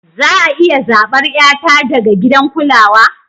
Za a iya zabar 'yata daga gidan kulawa?